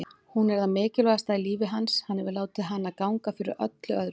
Hún er það mikilvægasta í lífi hans, hann hefur látið hana ganga fyrir öllu öðru.